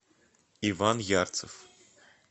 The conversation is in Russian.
иван ярцев